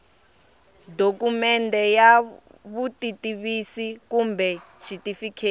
dokumende ya vutitivisi kumbe xitifiketi